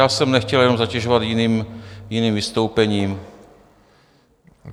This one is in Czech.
Já jsem nechtěl jenom zatěžovat jiným vystoupením.